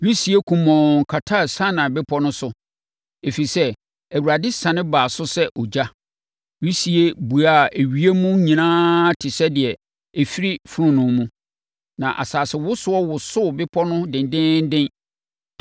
Wisie kumɔnn kataa Sinai Bepɔ no so, ɛfiri sɛ, Awurade siane baa so sɛ ogya. Wisie buaa ewiem nyinaa te sɛ deɛ ɛfiri fononoo mu, na asasewosoɔ wosoo bepɔ no dendeenden.